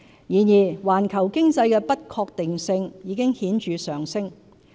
然而，環球經濟的不確定性已顯著上升。